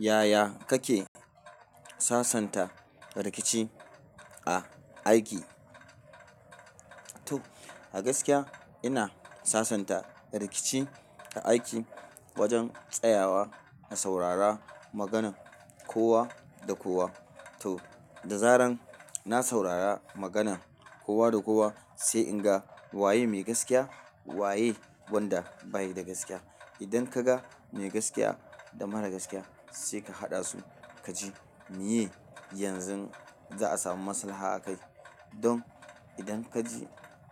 Yaya kake sasanta rikici a aiki? To a gaskiya ina sasanta rikici ta aiki wajen tsayawa na saurara maganan kowa da kowa. To da zaran na saurara maganan kowa da kowa sai in ga waye mai gaskiya waye wanda bayi da gaskiya. Idan ka ga mai gaskiya da mara gaskiya sai ka haɗa su ka ji miye yanzu za a samu maslaha a kai. Don idan